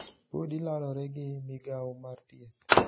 Podi lalore gi migawo mar thieth